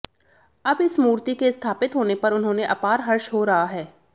अब इस मूर्ति के स्थापित होने पर उन्होंने अपार हर्ष हो रहा है